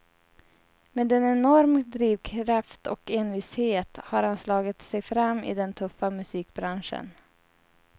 Med en enorm drivkraft och envishet har han slagit sig fram i den tuffa musikbranschen.